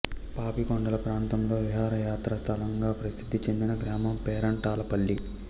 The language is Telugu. పాపికొండల ప్రాంతంలో విహారయాత్ర స్థలంగా ప్రసిద్ధి చెందిన గ్రామం పేరంటాలపల్లి